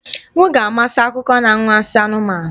M ga-amasị akụkọ na anwansi anụmanụ